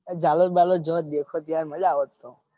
ઝાલોર બાલોર જોત દેખોટ તો મજા આવોત તો.